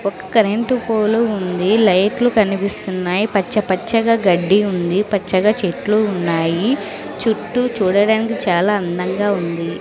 ఒక current pole ఉంది లైట్లు కనిపిస్తున్నాయి పచ్చపచ్చగా గడ్డి ఉంది పచ్చగా చెట్లు ఉన్నాయి చుట్టూ చూడడానికి చాలా అందంగా ఉంది.